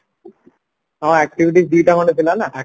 ହଁ activities ଦିଟା ଖଣ୍ଡ ଥିଲା ନାଁ